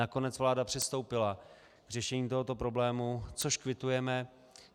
Nakonec vláda přistoupila k řešení tohoto problému, což kvitujeme.